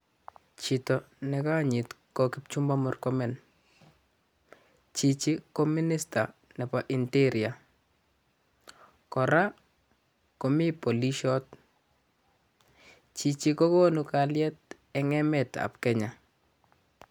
Chito ne konyit ko Kipchumba Murkomen, chichi ko minister nebo interior, kora komi polishot, chichi kokonu kalyet eng emetab Kenya.